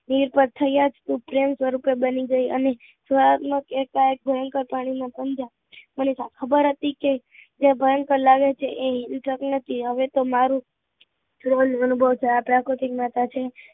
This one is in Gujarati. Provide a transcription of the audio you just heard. વીર તો થયા કૃર પ્રેમકથા બની ગઈ, અને સુહાગ નો કે કઈ ભયંકર ઘણી નો પુંજા મને તો ખબર હતી કે જો ભયંકર લાગે છે એ હિંસક નથી એતો મારુ પ્રાકૃતિક પાછળ છે